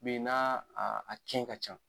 Min na a a tiɲɛ ka ca.